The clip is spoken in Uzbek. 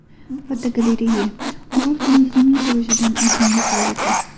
Fotogalereya: Orol dengizining qurishidan oldingi holati.